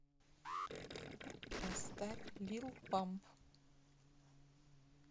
поставь лил памп